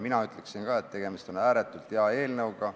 Mina ütleksin ka, et tegemist on ääretult hea eelnõuga.